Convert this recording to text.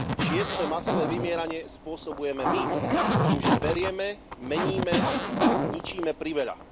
Šieste masové vymieranie spôsobujeme my tým, že berieme, meníme a ničíme priveľa.